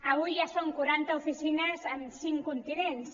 avui ja són quaranta oficines en cinc continents